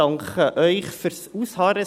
Ich danke Ihnen für das Ausharren.